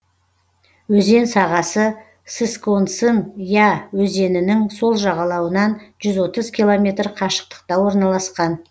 өзен сағасы сысконсын я өзенінің сол жағалауынан жүз отыз километр қашықтықта орналасқан